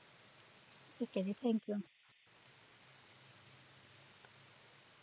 ਠੀਕ ਹੈ ਜੀ thankyou